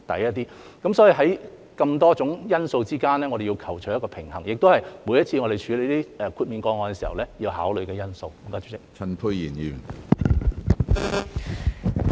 所以，在眾多因素之間，我們要求取一個平衡，這也是我們每次處理豁免個案時要考慮的因素。